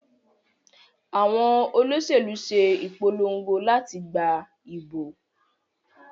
Àwọn Olóṣèlú ṣe ìpolongo láti gbà ìbò